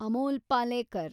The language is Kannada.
ಅಮೋಲ್ ಪಾಲೇಕರ್